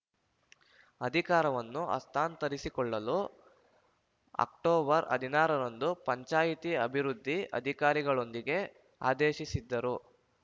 ಅಧಿಕಾರವನ್ನು ಹಸ್ತಾಂತರಿಸಿಕೊಳ್ಳಲು ಅಕ್ಟೋಬರ್ ಹದಿನಾರರಂದು ಪಂಚಾಯಿತಿ ಅಭಿವೃದ್ಧಿ ಅಧಿಕಾರಿಗಳಿಗೆ ಆದೇಶಿಸಿದ್ದರು